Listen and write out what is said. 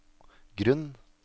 grunn